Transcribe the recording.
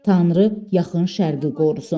Tanrı Yaxın Şərqi qorusun.